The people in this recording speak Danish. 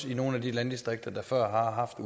i nogle af de landdistrikter der før har haft